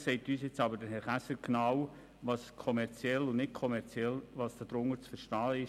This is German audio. Vielleicht sagt uns aber Herr Käser genau, was unter kommerziell und nicht kommerziell zu verstehen ist.